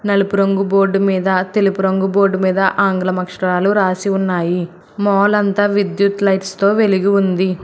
నలుపు రంగు బోర్డు మీద తెలుపు రంగు బోర్డు మీద ఆంగ్లం అక్షరాలు రాసి ఉన్నాయి మాల్ అంతా విద్యుత్ లైట్స్ తో వెలిగి ఉంది.